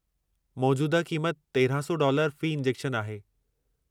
मौजूदह क़ीमति 1300 डॉलर फ़ी इंजेक्शन आहे।